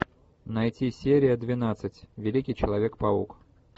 найти серия двенадцать великий человек паук